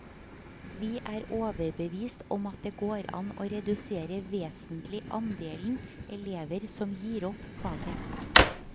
Vi er overbevist om at det går an å redusere vesentlig andelen elever som gir opp faget.